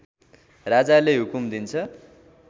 राजाले हुकुम दिन्छ